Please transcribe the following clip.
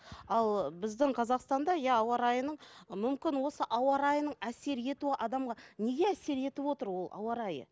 ал біздің қазақстанда иә ауа райының мүмкін осы ауа райының әсер етуі адамға неге әсер етіп отыр ол ауа райы